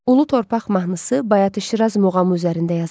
Ulu torpaq mahnısı Bayatı Şiraz muğamı üzərində yazılıb.